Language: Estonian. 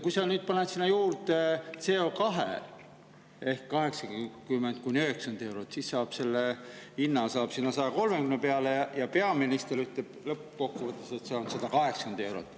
Kui sa nüüd paned sinna juurde CO2 ehk 80–90 eurot, siis saab selle hinna sinna 130 peale, ja peaminister ütleb lõppkokkuvõttes, et see on 180 eurot.